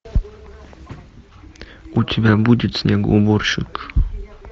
у тебя будет снегоуборщик